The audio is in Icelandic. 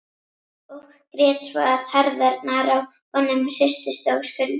Og grét svo að herðarnar á honum hristust og skulfu.